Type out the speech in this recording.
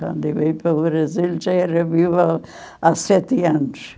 Quando eu vim para o Brasil, já era viúva há há sete anos.